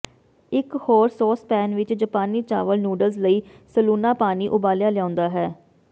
ਇਕ ਹੋਰ ਸੌਸਪੈਨ ਵਿਚ ਜਪਾਨੀ ਚਾਵਲ ਨੂਡਲਜ਼ ਲਈ ਸਲੂਣਾ ਪਾਣੀ ਉਬਾਲਿਆ ਲਿਆਉਂਦਾ ਹੈ